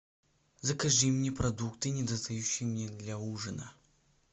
закажи мне продукты недостающие мне для ужина